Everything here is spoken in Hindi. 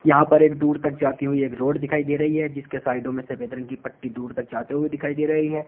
यहां पर एक दूर तक जाती हुई एक रोड दिखाई दे रही है जिसके साइडों में सफेद रंग की पट्टी दूर तक जाते हुए दिखाई दे रही है।